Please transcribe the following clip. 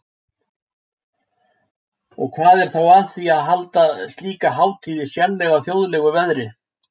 Og hvað er þá að því að halda slíka hátíð í sérlega þjóðlegu veðri?